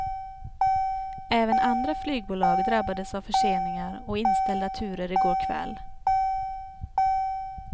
Även andra flygbolag drabbades av förseningar och inställda turer i går kväll.